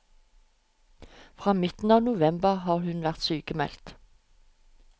Fra midten av november har hun vært sykmeldt.